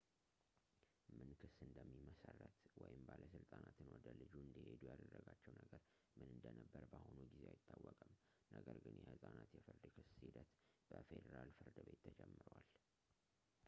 ምን ክስ እንደሚመሰረት ወይም ባለሥልጣናትን ወደ ልጁ እንዲሄዱ ያደረጋቸው ነገር ምን እንደነበር በአሁኑ ጊዜ አይታወቅም ፣ ነገር ግን የሕፃናት የፍርድ ክስ ሂደት በፌዴራል ፍርድ ቤት ተጀምሯል